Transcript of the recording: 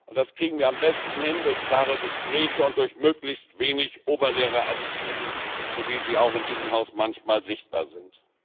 Das gelingt uns am besten durch klare Gespräche und durch möglichst wenig Oberlehrerattitüden, so wie sie in diesem Haus manchmal sichtbar sind.